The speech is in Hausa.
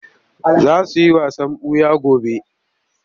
Za su yi wasan ɓuya gobe.